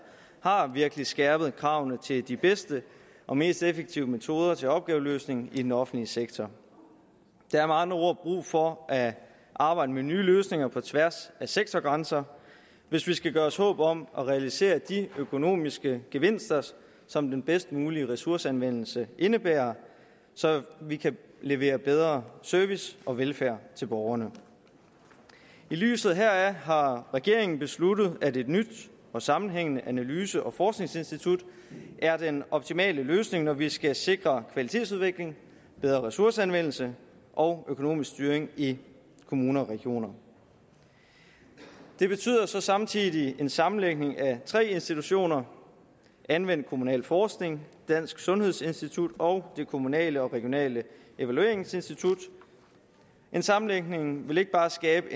virkelig har skærpet kravene til de bedste og mest effektive metoder til opgaveløsning i den offentlige sektor der er med andre ord brug for at arbejde med nye løsninger på tværs af sektorgrænser hvis vi skal gøre os håb om at realisere de økonomiske gevinster som den bedst mulige ressourceanvendelse indebærer så vi kan levere bedre service og velfærd til borgerne i lyset heraf har regeringen besluttet at et nyt og sammenhængende analyse og forskningsinstitut er den optimale løsning når vi skal sikre kvalitetsudvikling bedre ressourceanvendelse og økonomisk styring i kommuner og regioner det betyder så samtidig en sammenlægning af tre institutioner anvendt kommunalforskning dansk sundhedsinstitut og det kommunale og regionale evalueringsinstitut en sammenlægning vil ikke bare skabe